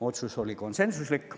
Otsus oli konsensuslik.